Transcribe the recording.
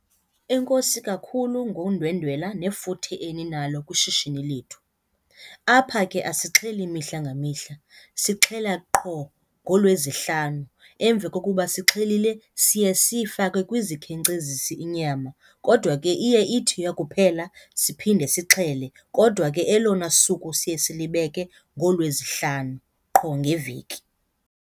Enkosi kakhulu ngondwendwela nefuthe eninalo kwishishini lethu. Apha ke asixheli mihla ngamihla, sixhela qho ngoLwezihlanu. Emveni kokuba sixhelile siye siyifake kwizikhenkcezisi inyama kodwa ke iye ithi yakuphela siphinde sixhele, kodwa ke elona suku siye silibeke ngooLwezihlanu qho ngeveki.